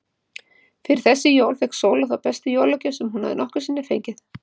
Fyrir þessi jól fékk Sóla þá bestu jólagjöf sem hún nokkru sinni hefur fengið.